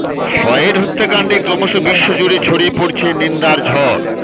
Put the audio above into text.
Floyd হত্যাকাণ্ডে ক্রমশ বিশ্ব জুড়ে ছড়িয়ে পড়ছে নিন্দার ঝড়